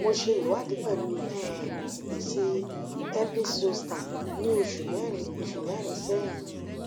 mo se iwadi pelu um esi herpes zoster ni osu merin osu merin sehin